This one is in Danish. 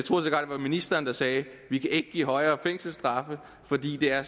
var ministeren der sagde det vi kan ikke give højere fængselsstraffe fordi det er